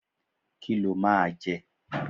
Kí lo máa jẹ?